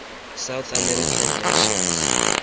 south american nations